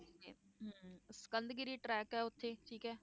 Sikandgiri track ਹੈ ਉੱਥੇ, ਠੀਕ ਹੈ।